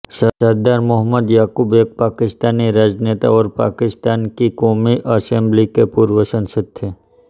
सरदार मोहम्मद याकूब एक पाकिस्तानी राजनेता और पाकिस्तान की क़ौमी असेम्बली के पूर्व सदस्य थे